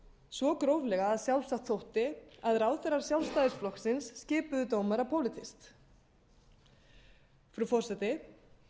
svo gróflega að sjálfsagt þótti að ráðherrar sjálfstæðisflokksins skipuðu dómara pólitískt frú forseti